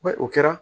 Ba o kɛra